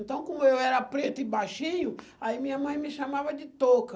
Então, como eu era preto e baixinho, aí minha mãe me chamava de toco.